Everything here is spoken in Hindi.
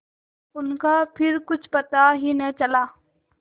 उनका फिर कुछ पता ही न चला